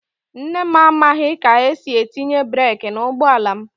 Nne m amaghị ka esi etinye breek n'ụgbọ ala m.